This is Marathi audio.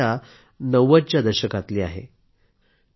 ही समस्या 90 च्या दशकातली आहे